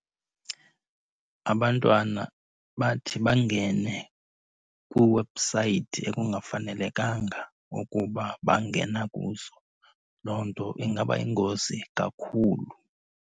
Abantwana bathi bangene kwiiwebhusayithi ekungafanelekanga ukuba bangena kuzo. Loo nto ingaba yingozi kakhulu.